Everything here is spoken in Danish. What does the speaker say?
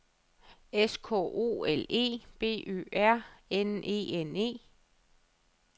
S K O L E B Ø R N E N E